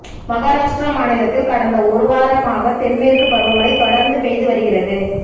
மகாராஷ்டிரா மாநிலத்தில் கடந்த ஒரு வாரமாக தென்மேற்கு பருவமழை தொடர்ந்து பெய்து வருகிறது